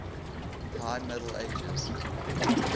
high middle ages